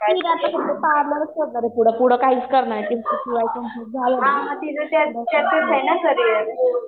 ती आता पार्लरचं पुढं पुढं काहीच करणार नाही